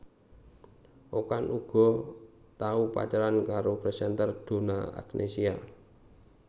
Okan uga tau pacaran karo presenter Donna Agnesia